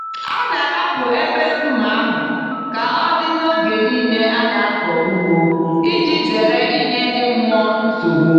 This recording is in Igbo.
A na-ahapụ ebe nkume ahụ ka ọ dị n'oge niile a na-akọ ugbo iji zere ịnye ndị mmụọ nsogbu.